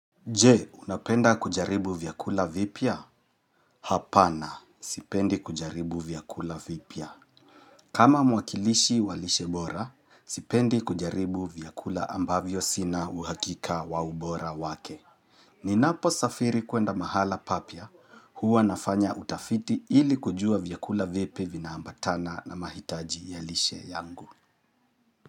Je, unapenda kujaribu vyakula vipya? Hapana, sipendi kujaribu vyakula vipia. Kama mwakilishi wa lishe bora, sipendi kujaribu vyakula ambavyo sina uhakika wa ubora wake. Ninaposafiri kwenda mahala papya, huwa nafanya utafiti ili kujua vyakula vipi vinaambatana na mahitaji ya lishe yangu.